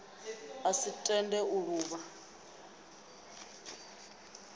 a si tende u luvha